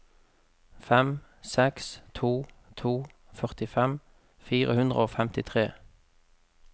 fem seks to to førtifem fire hundre og femtitre